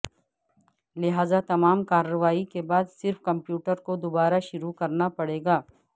لہذا تمام کارروائی کے بعد صرف کمپیوٹر کو دوبارہ شروع کرنا پڑے گا